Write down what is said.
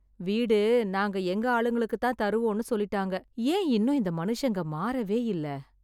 வீடு நாங்க எங்க ஆளுங்களுக்குதான் தருவோம்னு சொல்லிட்டாங்க என் இன்னும் இந்த மனுஷங்க மாறவே இல்ல